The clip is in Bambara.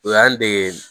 O y'an dege